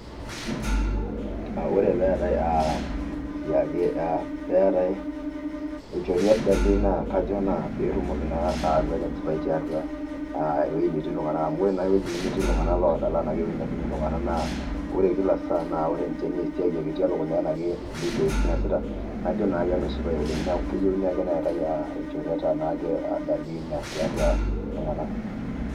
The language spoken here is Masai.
ore peetae aah siake peetae enchoruet darlei naa kajo naa peetumoki naa ayau ake enchipai tiatua aah ewuei netii iltung'anak amu ore naa ewueji nemetii iltung'anak loodal enaa kewueji nemetii iltung'anak naa, ore kila saa naa ore ninche naa esiau ake etii elukunya anaa ke nkulie siaitin eesita, najo naake nashipae oleng, neeku keyeuni ake neetae ilchoreta naake darlin tiatua iltung'ak.